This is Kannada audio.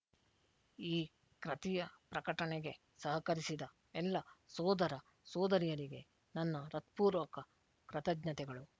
ಈ ಕ್ರತಿಯ ಪ್ರಕಟಣೆಗೆ ಸಹಕರಿಸಿದ ಎಲ್ಲ ಸೋದರ ಸೋದರಿಯರಿಗೆ ನನ್ನ ಹೃತ್ಪೂರ್ವಕ ಕೃತಜ್ಞತೆಗಳು